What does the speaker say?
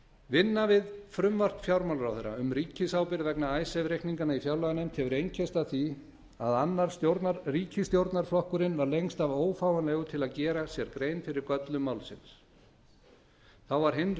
vinna við frumvarp fjármálaráðherra um ríkisábyrgð vegna icesave reikninganna í fjárlaganefnd hefur einkennst að því að annar ríkisstjórnarflokkurinn var lengst af ófáanlegur til að gera sér grein fyrir göllum málsins þá var hinn